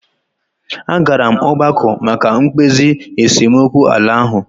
A gara m ọgbakọ maka mkpezi esemokwu ala ahụ.